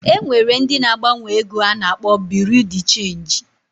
E nwere ndị na-agbanwe ego a na-akpọ Buru Di Chenji